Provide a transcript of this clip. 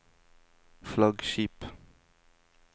flaggskip